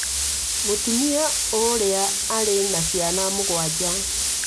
Mũtumia ũrĩa arĩ na ciana mũgwanja.